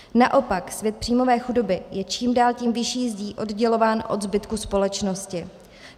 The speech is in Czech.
Naopak svět příjmové chudoby je čím dál tím vyšší zdí oddělován od zbytku společnosti.